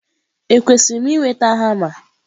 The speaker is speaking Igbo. Ekwesịrị m ị nweta hama?